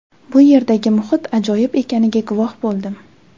Bu yerdagi muhit ajoyib ekaniga guvoh bo‘ldim.